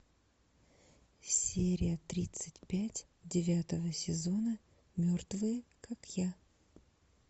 серия тридцать пять девятого сезона мертвые как я